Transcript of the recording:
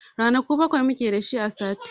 Ranaku bakwai mu ke da su a sati.